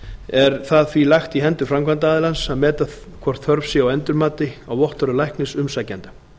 er það því lagt í hendur framkvæmdaraðilans að meta hvort þörf sé á endurmati á vottorði læknis umsækjanda